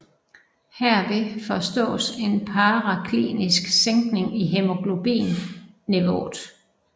Herved forstås en paraklinisk sænkning i hæmoglobin niveauet